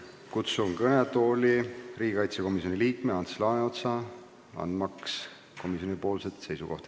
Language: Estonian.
Kutsun kõnetooli riigikaitsekomisjoni liikme Ants Laaneotsa, et ta annaks edasi komisjoni seisukohta.